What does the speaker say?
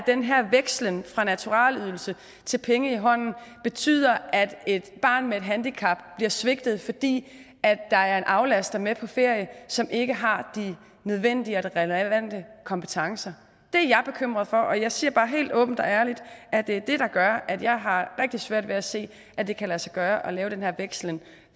den her vekslen fra naturalydelse til penge i hånden betyder at et barn med handicap bliver svigtet altså fordi der er en aflaster med på ferie som ikke har de nødvendige relevante kompetencer det er jeg bekymret for og jeg siger bare helt åbent og ærligt at det er det der gør at jeg har rigtig svært ved at se at det kan lade sig gøre at lave den her vekslen